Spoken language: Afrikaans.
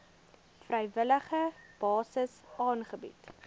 vrywillige basis aangebied